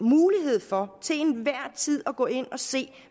mulighed for at gå ind og se